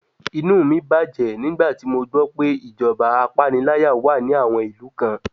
Inú mí bàjẹ́ nígbà tí mo gbọ́ pé ìjọba apániláyà wà ní àwọn ìlú kan.